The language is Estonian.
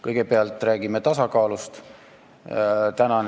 Kõigepealt räägime tasakaalust.